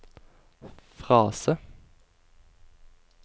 frase